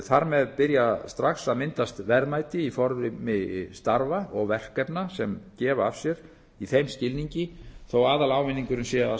þar með byrja strax að myndast verðmæti í formi starfa og verkefna sem gefa af sér í þeim skilningi þó að aðalávinningurinn sér